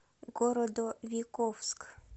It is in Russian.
городовиковск